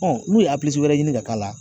n'u ye wɛrɛ ɲini ka k'a la